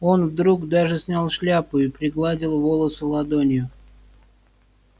он вдруг даже снял шляпу и пригладил волосы ладонью